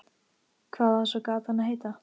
Hvað á svo gatan að heita?